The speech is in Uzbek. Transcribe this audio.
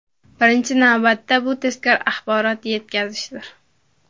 Birinchi navbatda, bu tezkor axborot yetkazishdir.